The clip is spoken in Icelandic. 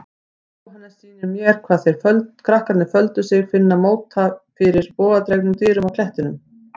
Jóhannes sýnir mér hvar þeir krakkarnir töldu sig finna móta fyrir bogadregnum dyrum á klettinum.